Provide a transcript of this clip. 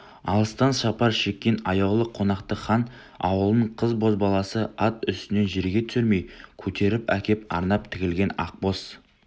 алыстан сапар шеккен аяулы қонақты хан ауылының қыз-бозбаласы ат үстінен жерге түсірмей көтеріп әкеп арнап тігілген ақ боз